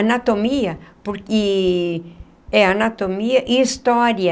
Anatomia, porque e... É, anatomia e história.